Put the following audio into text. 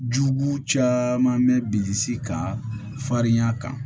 Jugu caman bɛ bilisi kan farinya kan